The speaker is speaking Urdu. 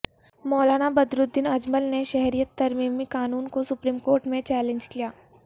مولانا بدر الدین اجمل نے شہریت ترمیمی قانون کو سپریم کورٹ میں چیلنج کیا